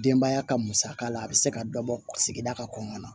Denbaya ka musaka la a bi se ka dɔ bɔ sigida ka kɔnɔna na